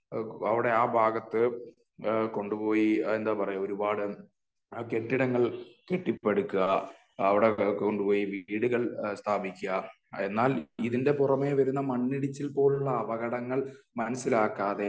അവിടെ ആ ഭാഗത്ത് കൊണ്ടുപോയി അത് എന്താ പറയാ ഒരു പാട് കെട്ടിടങ്ങൾ കെട്ടിപ്പടുക്കുക ,അവിടെ കൊണ്ടുപോയി വീടുകൾ സ്ഥാപിക്കുക . എന്നാൽ ഇതിന്റെ പുറമെ വരുന്ന മണ്ണിടിച്ചിൽ പോലുള്ള അപകടങ്ങൾ മനസ്സിലാക്കാതെ